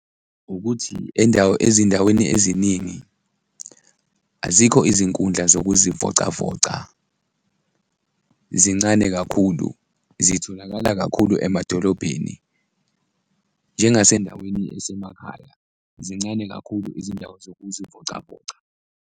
Ukuthi ezindaweni eziningi azikho izinkundla zokuzivocavoca, zincane kakhulu, zitholakala kakhulu emadolobheni njengasendaweni esemakhaya, zincane kakhulu izindawo zokuzivocavoca.